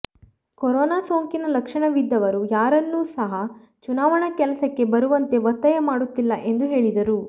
corona ಸೋಂಕಿನ ಲಕ್ಷಣವಿದ್ದವರೂ ಯಾರನ್ನು ಸಹ ಚುನಾವಣಾ ಕೆಲಸಕ್ಕೆ ಬರುವಂತೆ ಒತ್ತಾಯ ಮಾಡುತ್ತಿಲ್ಲ ಎಂದು ಹೇಳಿದರು